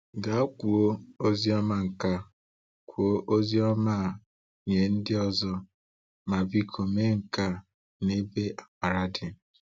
Gaa kụọ Oziọma a kụọ Oziọma a nye ndị ọzọ! Ma biko mee nke a n’ebe amara dị.